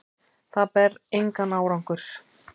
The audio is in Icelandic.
Það bar engan árangur.